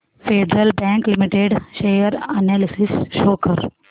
federal Bank Limited share analysis show कर